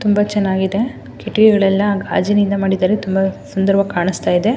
ತುಂಬ ಚೆನ್ನಾಗಿದೆ ಕಿಟಕಿಗಳೆಲ್ಲ ಗಾಜಿನಿಂದ ಮಾಡಿದ್ದಾರೆ ತುಂಬ ಸುಂದರವಾಗಿ ಕಾಣಿಸ್ತ ಇದೆ.